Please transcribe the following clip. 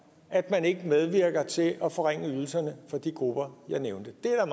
at man ikke medvirker til at forringe ydelserne for de grupper jeg nævnte det er